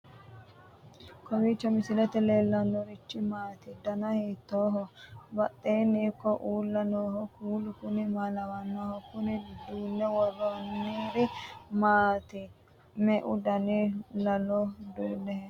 kowiicho misilete leellanorichi maati ? dana hiittooho ?abadhhenni ikko uulla noohu kuulu kuni maa lawannoho? kuni duunne worroonniri maati me'u dani laalo duunne hee'noonni